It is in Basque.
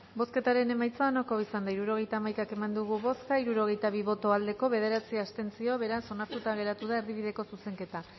bozketaren emaitza onako izan da hirurogeita hamaika eman dugu bozka hirurogeita bi boto aldekoa bederatzi abstentzio beraz onartuta geratu da erdibideko zuzenketa